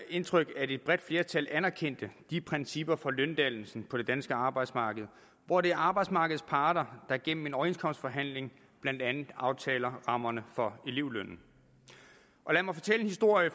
indtryk at et bredt flertal anerkendte principperne for løndannelsen på det danske arbejdsmarked hvor det er arbejdsmarkedets parter der gennem en overenskomstforhandling blandt andet aftaler rammerne for elevlønnen lad mig fortælle en historie